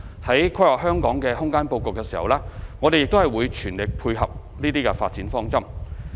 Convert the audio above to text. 在規劃香港的空間布局時，我們會全力配合這些發展方針。